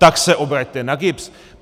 Tak se obraťte na GIBS.